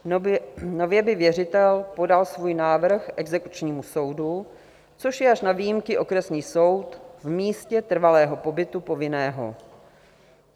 Nově by věřitel podal svůj návrh exekučnímu soudu, což je až na výjimky okresní soud v místě trvalého pobytu povinného.